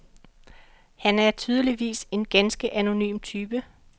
Han er tydeligvis en ganske anonym type.